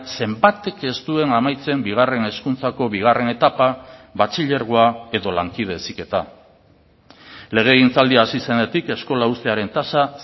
zenbatek ez duen amaitzen bigarren hezkuntzako bigarren etapa batxilergoa edo lankide heziketa legegintzaldia hasi zenetik eskola uztearen tasa